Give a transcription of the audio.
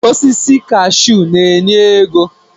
Osisi kashuu na-enye ego